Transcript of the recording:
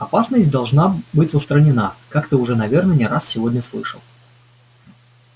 опасность должна быть устранена как ты уже наверное не раз сегодня слышал